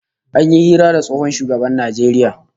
An yi hira da tsohon shugaban Najeriya